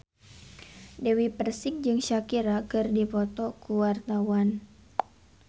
Dewi Persik jeung Shakira keur dipoto ku wartawan